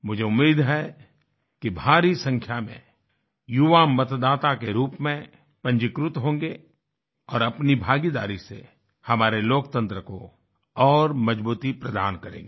मुझे उम्मीद है कि भारी संख्या में युवा मतदाता के रूप में पंजीकृत होंगे और अपनी भागीदारी से हमारे लोकतंत्र को और मजबूती प्रदान करेंगे